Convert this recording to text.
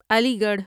علی گڑھ